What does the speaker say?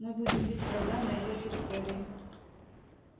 мы будем бить врага на его территории